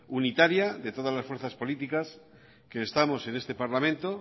unitaria de todas las fuerzas políticas que estamos en este parlamento